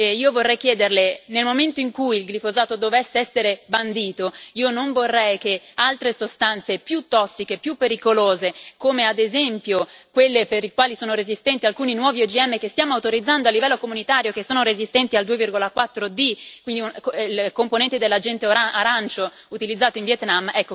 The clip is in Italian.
Io vorrei chiederle, nel momento in cui il glifosato dovesse essere bandito, io non vorrei che altre sostanze più tossiche e più pericolose, come ad esempio quelle per le quali sono resistenti alcuni nuovi OGM che stiamo autorizzando a livello comunitario e che sono resistenti al 2,4 D, il componente dell'Agente Arancio utilizzato in Vietnam,